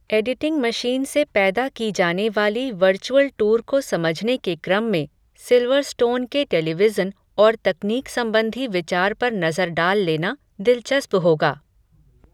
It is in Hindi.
एडीटिंग मशीन से पैदा की जानेवाली वर्चुअल टूर को समझने के क्रम में, सिल्वरस्टोन के टेलीविज़न और तकनीक संबंधी विचार पर नज़र डाल लेना, दिलचस्प होगा